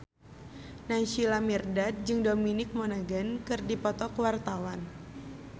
Naysila Mirdad jeung Dominic Monaghan keur dipoto ku wartawan